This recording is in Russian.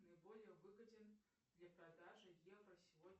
наиболее выгоден для продажи евро сегодня